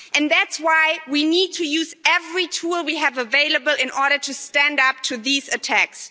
That's why we need to use every tool we have available in order to stand up to these attacks.